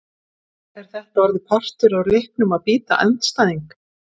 Er þetta orðið partur af leiknum að bíta andstæðing!?